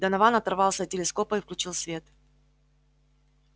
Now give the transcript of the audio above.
донован оторвался от телескопа и включил свет